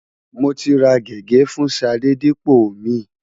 Mo ti ra gègé fún Ṣadé dípò omi.